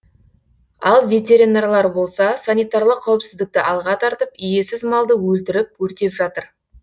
ал ветеринарлар болса санитарлық қауіпсіздікті алға тартып иесіз малды өлтіріп өртеп жатыр